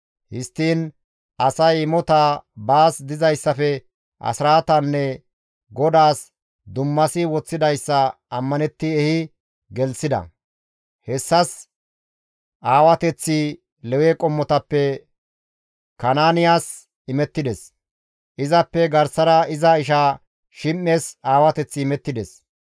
Histtiin asay imotaa, baas dizayssafe asraatanne GODAAS dummasi woththidayssa ammanetti ehi gelththida; hessas aawateththi Lewe qommotappe Kanaaniyas imettides; izappe garsara iza isha Shim7es aawateththi imettides.